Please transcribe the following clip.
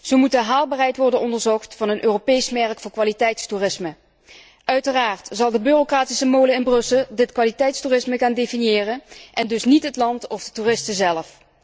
Zo moet de haalbaarheid worden onderzocht van een Europees merk voor kwaliteitstoerisme. Uiteraard zal de bureaucratische molen in Brussel dit kwaliteitstoerisme gaan definiëren en dus niet het land of de toeristen zelf.